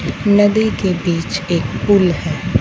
नदी के बीच एक पूल है।